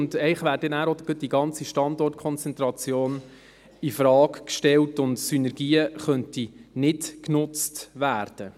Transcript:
Und eigentlich wäre dann danach auch gleich die ganze Standortkonzentration infrage gestellt und Synergien könnten nicht genutzt werden.